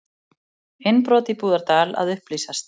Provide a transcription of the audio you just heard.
Innbrot í Búðardal að upplýsast